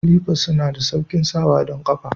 Slifers suna da sauƙin sawa don kafa.